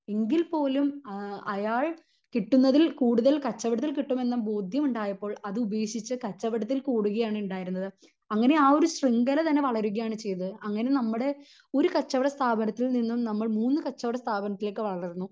എങ്കിൽ പോലും എഹ് അയാൾ കിട്ടുന്നതിൽ കൂടുതൽ കച്ചവടത്തിൽ കിട്ടും എന്ന ബോധ്യം ഉണ്ടായപ്പോൾ അത് ഉപേക്ഷിച്ച് കച്ചവടത്തിൽ കൂടുക ആണ് ഉണ്ടായിരുന്നത് അങ്ങിനെ ആ ഒരു ശ്രിംഖല തന്നെ വളരുക ആണ് ചെയ്തത് അങ്ങിനെ നമ്മുടെ ഒരു കച്ചവട സ്ഥാപനത്തിൽ നിന്നും നമ്മൾ മൂന്ന് കച്ചവട സ്ഥാപനത്തിലേക്ക് വളർന്നു